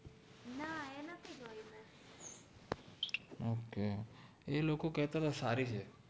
okay એ લોકો કેતા તા સારી હૈ